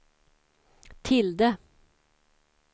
tilde